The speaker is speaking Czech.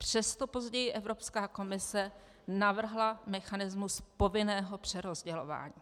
Přesto později Evropská komise navrhla mechanismus povinného přerozdělování.